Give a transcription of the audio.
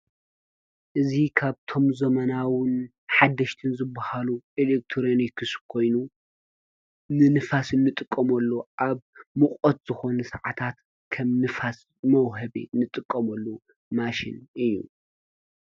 እዙ ኻብቶም ዘመናውን ሓደሽትን ዝብሃሉ ኤሌክቶርንክስ ኮይኑ ንንፋስ እንጥቆምሉ ኣብ ምቖት ዝኾነ ሰዓታት ከም ንፋስ መውሃቤ ንጥቆምሉ ማሽን እዩ።